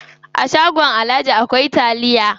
A shagon alhaji akwai taliya.